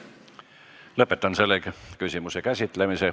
Lõpetan selle küsimuse käsitlemise.